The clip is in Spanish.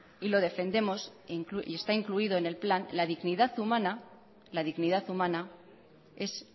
y lo defendemos y está incluido en el plan la dignidad humana la dignidad humana es